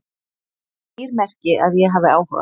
Skýr merki að ég hafi áhuga